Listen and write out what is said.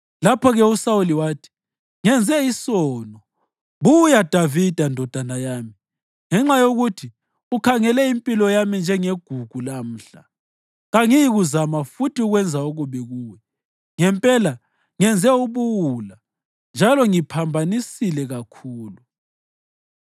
Lapho-ke uSawuli wathi, “Ngenze isono. Buya Davida, ndodana yami. Ngenxa yokuthi ukhangele impilo yami njengegugu lamhla, kangiyikuzama futhi ukwenza okubi kuwe. Ngempela ngenze ubuwula njalo ngiphambanise kakhulu.”